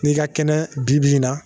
N'i ka kɛnɛ bi-bi in na